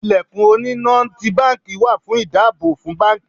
Ilẹ̀kùn oní na ti báńkì wà fún ìdáàbò fún báńkì.